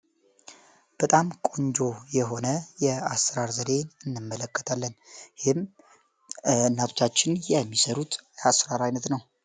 በጣም ቆንጆ የሆነ የአስራር ዘሬን እነመለከታለን ይህም እናቶቻችን የሚሰሩት አስራር ዓይነት ነው፡፡